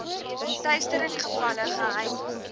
teistering gevalle geheim